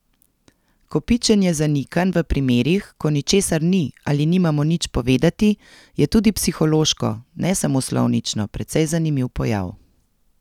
Kopičenje zanikanj v primerih, ko ničesar ni ali nimamo nič povedati, je tudi psihološko, ne samo slovnično, precej zanimiv pojav ...